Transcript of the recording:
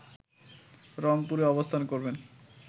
রংপুরে অবস্থান করবেন